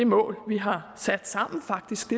mål vi har sat sammen faktisk